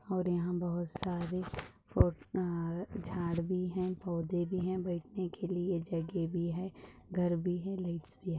और यहाँ बहुत सारे फूह अ झाड़ भी है पौधे भी है बैठने के लिए जगह भी है घर भी है लाइट भी है।